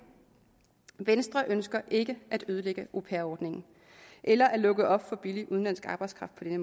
venstre ønsker ikke at ødelægge au pair ordningen eller at lukke op for billig udenlandsk arbejdskraft på den